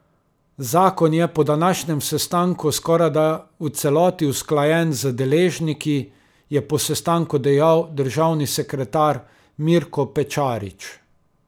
Zakon je po današnjem sestanku skorajda v celoti usklajen z deležniki, je po sestanku dejal državni sekretar Mirko Pečarič.